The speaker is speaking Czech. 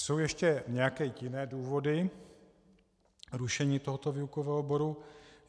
Jsou ještě nějaké jiné důvody rušení tohoto výukového oboru?